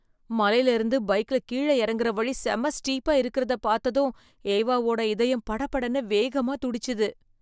மலைலயிருந்து பைக்ல கீழ இறங்குற வழி செம ஸ்டீப்பா இருக்குறத பாத்ததும் ஏவாவோட இதயம் படபடன்னு வேகமா துடிச்சுது.